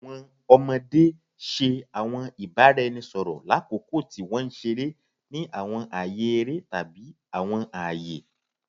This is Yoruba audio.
Awọn ọmọde ṣe awọn ibaraẹnisọrọ lakoko ti wọn nṣere ni awọn aaye ere tabi awọn aaye